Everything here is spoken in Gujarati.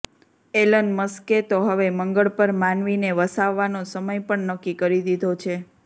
એલન મસ્કે તો હવે મંગળ પર માનવીને વસાવવાનો સમય પણ નક્કી કરી દીધો છે